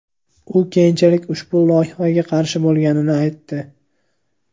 U keyinchalik ushbu loyihaga qarshi bo‘lganini aytdi.